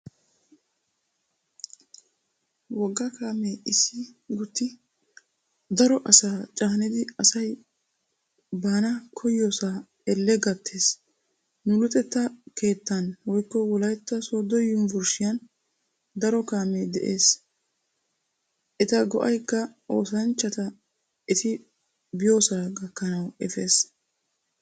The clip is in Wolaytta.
Wogga kaamee issi gutti daro asaa caanidi asay baana koyyidosaa elle gattees. Nu luxetta keettan(wolaytta sooddo yunvurshiyan) daro kaamee de'ees eta go'aykka oosanchchata eti biyoosaa gakkanawu efees.